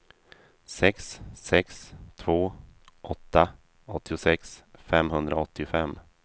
sex sex två åtta åttiosex femhundraåttiofem